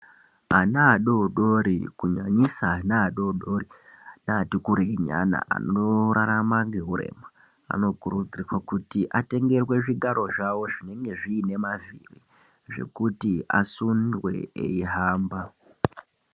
Ana adodori kunyanyisa ana adodori neati kurei vanorarama ngehurema vanokurudzirwe kuti atengerwe zvigaro zvawo zvinenge zvinemavhiri zvekuti asundwe aihamba.